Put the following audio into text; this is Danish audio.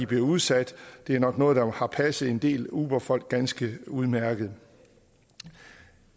bliver udsat det er nok noget der har passet en del uberfolk ganske udmærket